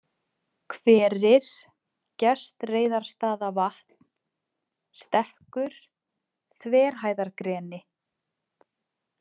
Hverir, Gestreiðarstaðavatn, Stekkur/, Þverhæðargreni